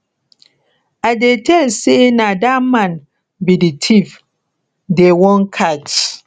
i dey tell say na dat man be the thief dey wan catch